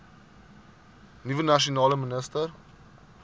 nuwe nasionale minister